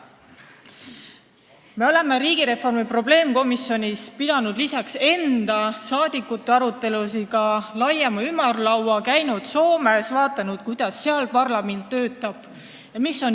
Me oleme riigireformi probleemkomisjonis lisaks enda, saadikute aruteludele pidanud ka laiema ümarlaua, käinud Soomes, vaadanud, kuidas seal parlament töötab.